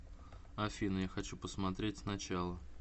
афина я хочу посмотреть с начала